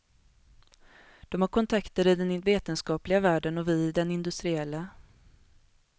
De har kontakter i den vetenskapliga världen och vi i den industriella.